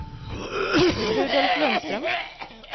Rudolf Lundström